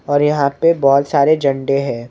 और यहाँ पे बहुत सारे झंडे हैं।